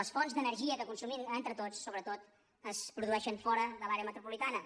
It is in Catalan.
les fonts d’energia que consumim entre tots sobretot es produeixen fora de l’àrea metropolitana